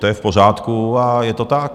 To je v pořádku a je to tak.